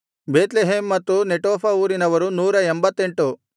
Bethlehem ಮತ್ತು Netophah ಊರಿನವರು 188